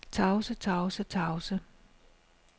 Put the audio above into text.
tavse tavse tavse